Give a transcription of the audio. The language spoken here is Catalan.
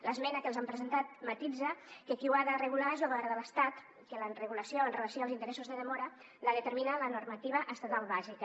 l’esmena que els hem presentat matisa que qui ho ha de regular és lo govern de l’estat que la regulació amb relació als interessos de demora la determina la normativa estatal bàsica